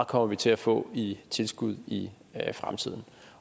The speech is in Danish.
kommer til at få i tilskud i fremtiden